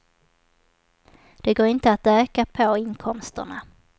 Det går inte att öka på inkomsterna.